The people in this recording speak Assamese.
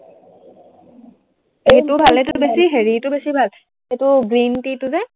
সেইটোও ভাল, সেইটোতকৈ বেছি হেৰিটো ভাল, সেইটো green tea টো যে